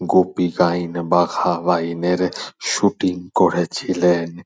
গোপীগইন বাঘাবাইন এর শুটিং করেছিলেন।